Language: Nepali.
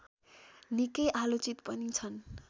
निकै आलोचित पनि छन्